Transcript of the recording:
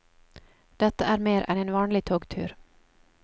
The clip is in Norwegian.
Dette er mer enn en vanlig togtur.